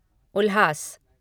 उल्हास